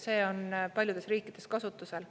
See on paljudes riikides kasutusel.